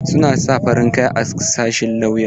Suna sa farin kaya a sashin lauya.